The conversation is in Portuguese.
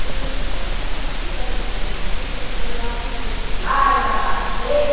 Eu falei, então tá bom, você me dá o dinheiro para matrícula, porque eu já fiz o vestibular e já passei.